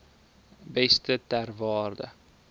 beeste ter waarde